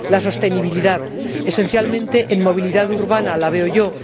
La sostenibilidad, esencialmente en la movilidad urbana la veo yo.